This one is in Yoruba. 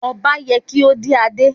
Ọba ye kí ó dé adé.